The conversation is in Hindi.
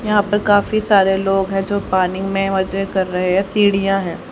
यहां पर काफी सारे लोग हैं जो पानी में मजे कर रहे हैं सीढ़ियां हैं।